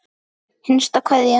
HINSTA KVEÐJA.